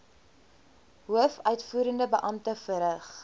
hoofuitvoerende beampte verrig